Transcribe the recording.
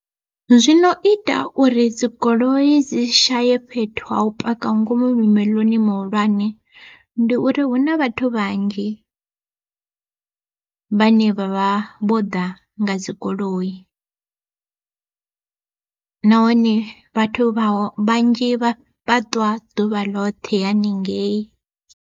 Zwino ita uri dzigoloi dzi shaye fhethu ho u paka ngomu mimoḽoni mihulwane, ndi uri hu na vhathu vhanzhi. Vhane vha vha vho ḓa nga dzigoloi, nahone vhathu vhanzhi vha vha ṱwa ḓuvha ḽoṱhe haningei.